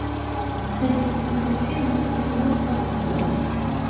найти и посмотреть фильм русский роман онлайн